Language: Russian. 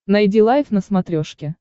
найди лайф на смотрешке